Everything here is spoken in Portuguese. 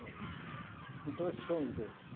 Bom, então esses são os dois.